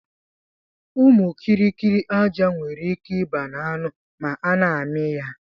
Ụmụ kiri kiri aja nwere ike iba na anụ ma ana ami ya.